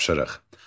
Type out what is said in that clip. Tapşırıq.